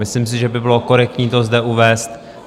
Myslím si, že by bylo korektní to zde uvést.